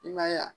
I ma ye wa